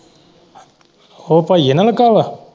ਉਹ ਭਾਈਏ ਨਾਲ ਲੱਗਾ ਹੈ।